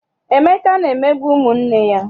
Emeka na-emegbu ụmụ nne ya.